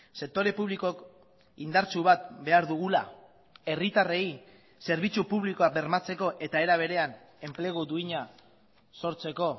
sektore publikok indartsu bat behar dugula herritarrei zerbitzu publikoa bermatzeko eta era berean enplegu duina sortzeko